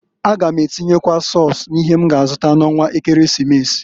A gam atinyekwu sọs n'ihe m ga azụta n'ọnwa ekeresimesi.